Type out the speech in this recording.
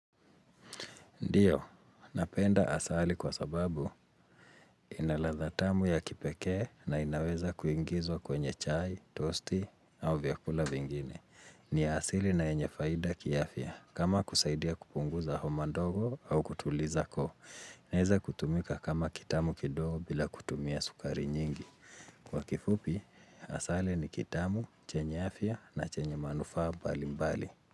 Ndiyo, napenda asali kwa sababu inaladha tamu ya kipeke na inaweza kuingizwa kwenye chai, tosti au vyakula vingine. Ni asili na yenye faida kiafya kama kusaidia kupunguza homa ndogo au kutuliza koo. Naeza kutumika kama kitamu kidogo bila kutumia sukari nyingi. Kwa kifupi, asali ni kitamu, chenye afya na chenye manufaa bali mbali.